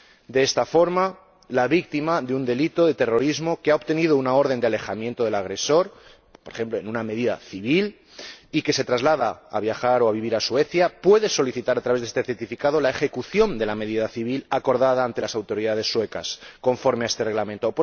De esta forma, la víctima de un delito de terrorismo que haya obtenido una orden de alejamiento del agresor, por ejemplo, en una medida civil, y que se traslade para viajar o para vivir a Suecia podrá solicitar a través de este certificado la ejecución de la medida civil acordada ante las autoridades suecas, conforme a este Reglamento.